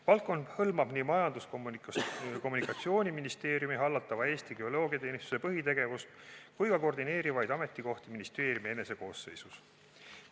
Valdkond hõlmab nii Majandus- ja Kommunikatsiooniministeeriumi hallatava Eesti Geoloogiateenistuse põhitegevust kui ka koordineerivaid ametikohti ministeeriumi enese koosseisus.